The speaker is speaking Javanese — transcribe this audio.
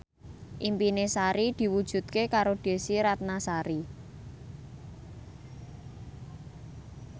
impine Sari diwujudke karo Desy Ratnasari